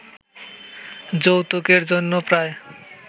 যৌতুকের জন্য প্রায়